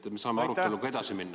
Siis me saame aruteluga edasi minna.